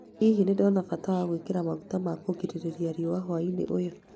Hihi nĩ ndona bata wa gwĩkĩra maguta ma kugiriria riũa hwaĩ-inĩ ũyũ?